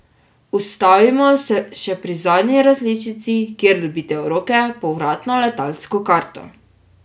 Ustavimo se še pri zadnji različici, kjer dobite v roke povratno letalsko karto.